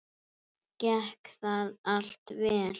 Gekk það allt vel.